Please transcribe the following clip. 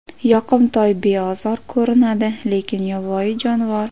Yoqimtoy, beozor ko‘rinadi, lekin yovvoyi jonivor.